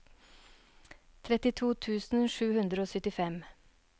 trettito tusen sju hundre og syttifem